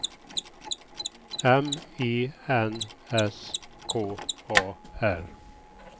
M I N S K A R